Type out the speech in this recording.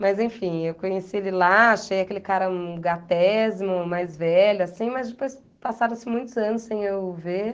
Mas, enfim, eu conheci ele lá, achei aquele cara um gatésimo, mais velho, assim, mas depois passaram-se muitos anos sem eu ver.